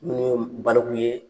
Ni min ma baliku ye